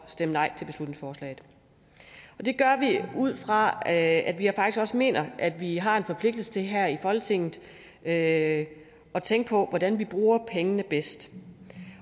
stemme nej og det gør vi ud fra at vi faktisk mener at vi har en forpligtelse til her i folketinget at at tænke på hvordan man bruger pengene bedst